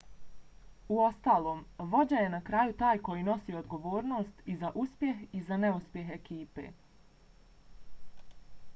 uostalom vođa je na kraju taj koji nosi odgovornost i za uspjeh i za neuspjeh ekipe